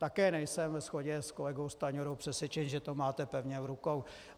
Také nejsem ve shodě s kolegou Stanjurou přesvědčen, že to máte pevně v rukou.